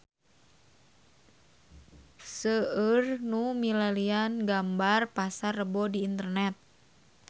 Seueur nu milarian gambar Pasar Rebo di internet